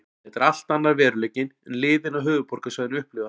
Þetta er allt annar veruleiki en liðin á höfuðborgarsvæðinu upplifa.